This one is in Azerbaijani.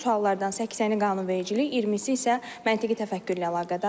Bu suallardan 80-i qanunvericilik, 20-si isə məntiqi təfəkkürlə əlaqədardır.